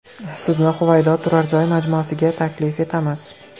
Sizni Huvaydo turar joy majmuasiga taklif etamiz.